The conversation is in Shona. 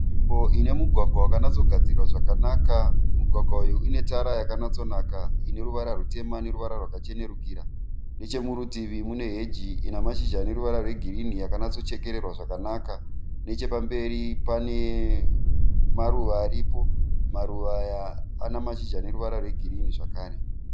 Nzvimbo ine mugwagwa wakanatsogadzirwa zvakanaka. Mugwagwa uyu une tara yakanatsonaka ine ruvara rutema neruvara rwakachenerukira. Nechemurutivi mune heji ine mashizha ane ruvara rwegirini yakanatsochekererwa zvakanaka. Nechepamberi pane maruva aripo. Maruva aya ane mashizha ane ruvara rwegirini zvakare.